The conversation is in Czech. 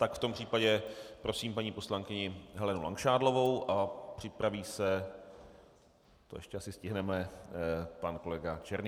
Tak v tom případě prosím paní poslankyni Helenu Langšádlovou a připraví se, to asi ještě stihneme, pan kolega Černý.